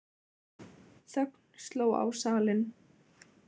Þögn sló á salinn.